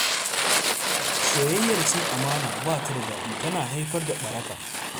Soyayyar cin amana ba ta da daɗi, tana haifar da ɓaraka.